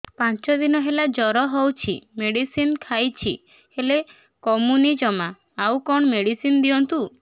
ପାଞ୍ଚ ଦିନ ହେଲା ଜର ହଉଛି ମେଡିସିନ ଖାଇଛି ହେଲେ କମୁନି ଜମା ଆଉ କଣ ମେଡ଼ିସିନ ଦିଅନ୍ତୁ